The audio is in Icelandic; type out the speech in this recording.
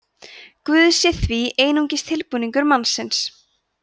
guð sé því einungis tilbúningur mannsins